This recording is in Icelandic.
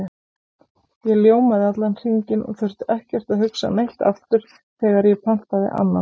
Ég ljómaði allan hringinn og þurfti ekkert að hugsa neitt aftur þegar ég pantaði annan.